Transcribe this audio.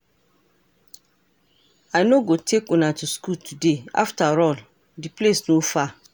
I no go take una to school today afterall the place no far